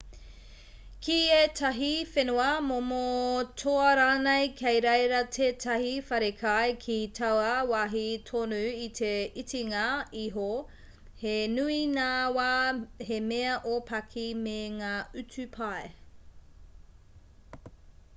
ki ētahi whenua momo toa rānei kei reira tētahi wharekai ki taua wāhi tonu i te itinga iho he nui ngā wā he mea ōpaki me ngā utu pai